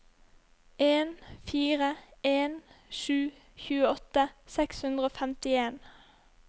en fire en sju tjueåtte seks hundre og femtien